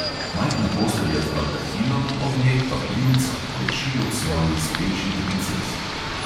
Majhna postelja z baldahinom, ob njej pa princ, ki kleči ob svoji speči princesi.